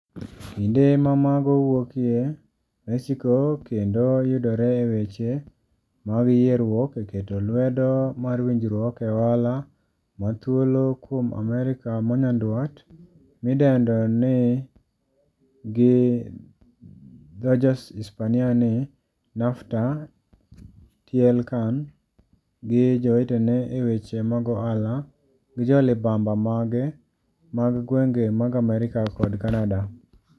Kinde ma mago wuokie Mexico kendo yudore e weche mag yieruok eketo lwedo mar winjruok e ohala ma thuolo kuom amerika ma nyandwat mi dendo ni gi dhojoispania ni NAFTA, TLCAN, gi jowetene eweche mag ohala gi jolibamba mage mag gwenge mag Amerika kod Canada.